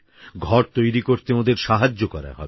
ঘর তৈরি করতে ওঁদের সাহায্য করা হবে